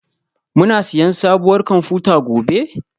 Muna siyan sabuwar kwamfuta gobe?